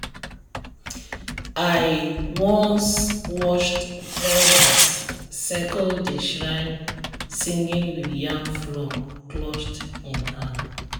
i once watched elders circle the shrine singing with yam flour clutched in hand.